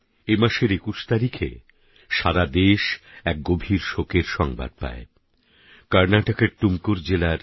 এমাসের ২১ তারিখে সারা দেশ এক গভীর শোকের সংবাদ পায় কর্ণাটকের টুমকুর জেলার